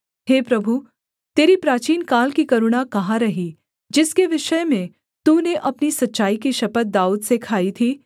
हे प्रभु तेरी प्राचीनकाल की करुणा कहाँ रही जिसके विषय में तूने अपनी सच्चाई की शपथ दाऊद से खाई थी